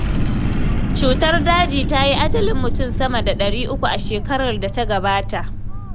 Cutar daji ta yi ajalin mutum sama da ɗari uku a shekarar da ta gabata.